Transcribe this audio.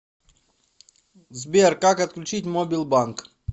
сбер как отключить мобил банк